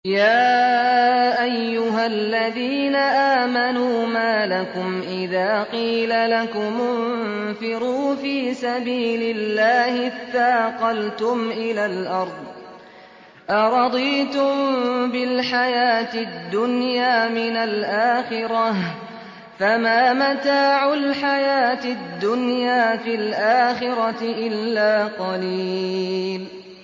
يَا أَيُّهَا الَّذِينَ آمَنُوا مَا لَكُمْ إِذَا قِيلَ لَكُمُ انفِرُوا فِي سَبِيلِ اللَّهِ اثَّاقَلْتُمْ إِلَى الْأَرْضِ ۚ أَرَضِيتُم بِالْحَيَاةِ الدُّنْيَا مِنَ الْآخِرَةِ ۚ فَمَا مَتَاعُ الْحَيَاةِ الدُّنْيَا فِي الْآخِرَةِ إِلَّا قَلِيلٌ